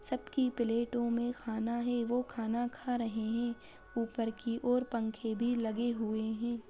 सबकी प्लेटों मे खाना है वो खाना खा रहे है ऊपर की ओर पंखे भी लगे हुए है।